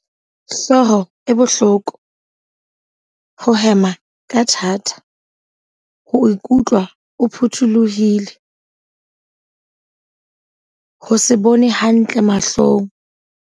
Hlooho e bohloko, ho hema ka thata. Ho ikutlwa o phuthulohile. Ho se bone hantle mahlong.